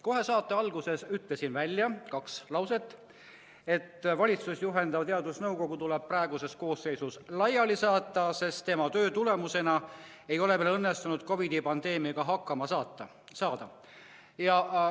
Kohe saate alguses ütlesin välja, et valitsust juhendav teadusnõukoda tuleks kogu praeguses koosseisus laiali saata, sest nende töö ei ole meil võimaldanud COVID-i pandeemiaga hakkama saada.